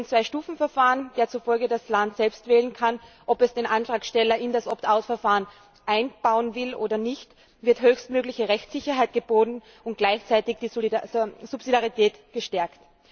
Mit dem Zwei Stufen Verfahren, dem zufolge das Land selbst wählen kann, ob es den Antragsteller in das Opt Out Verfahren einbauen will oder nicht, wird höchstmögliche Rechtssicherheit geboten und gleichzeitig die Subsidiarität gestärkt.